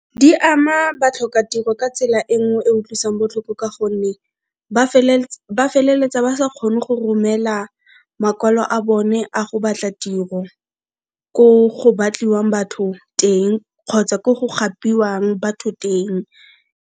Di a ma batlhokatiro ka tsela e nngwe e utlwisang botlhoko ka gonne ba feleletsa ba sa kgone go romela makwalo a bone a go batla tiro ko go batliwang batho teng kgotsa ko go gapiwang batho teng.